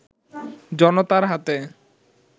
জনতার হাতে